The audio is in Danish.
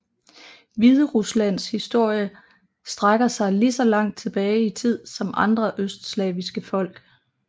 Hvideruslands historie strækker sig lige så langt tilbage i tid som andre østslaviske folk